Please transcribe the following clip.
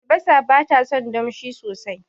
Albasa batason damshi sosai